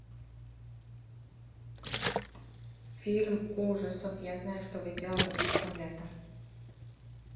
фильм ужасов я знаю что вы сделали прошлым летом